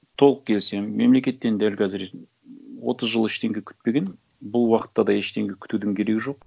толық келісемін мемлекеттен дәл қазір отыз жыл ештеңе күтпеген бұл уақытта да ештеңе күтудің керегі жоқ